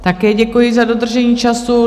Také děkuji za dodržení času.